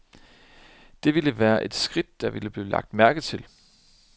Det ville være et skridt, der ville blive lagt mærke til.